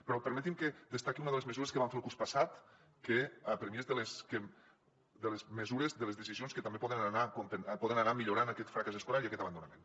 però permeti’m que destaqui una de les mesures que vam fer el curs passat que per mi és de les mesures de les decisions que també poden anar millorant aquest fracàs escolar i aquest abandonament